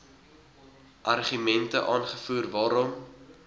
argumente aangevoer waarom